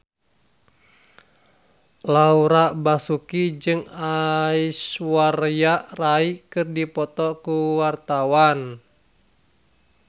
Laura Basuki jeung Aishwarya Rai keur dipoto ku wartawan